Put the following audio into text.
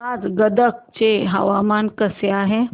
आज गदग चे हवामान कसे आहे